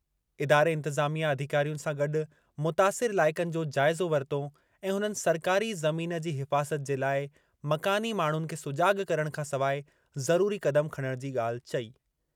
इदारे इंतिज़ामिया अधिकारियुनि सां गॾु मुतासिर इलाइक़नि जो जाइज़ो वरितो ऐं हुननि सरकारी ज़मीन जी हिफ़ाज़त जे लाइ मकानी माण्हुनि खे सुजाॻ करणु खां सवाइ ज़रूरी क़दम खणणु जी ॻाल्हि चई।